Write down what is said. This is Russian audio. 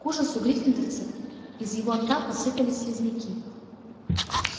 к ужасу гриффиндорцев из его рта посыпались слизняки